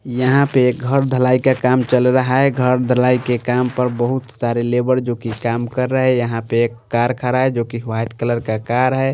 यहाँ पे एक घर धलाई का काम चल रहा है घर धलाई के काम पर बहोत सारे लेबर जो कि काम कर रहे हैं यहाँ पे एक कार खड़ा रहा है जो कि वाइट कलर का कार है।